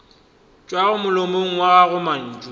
tšwago molomong wa gago mantšu